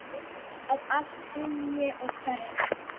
Að allt hrynji og hverfi.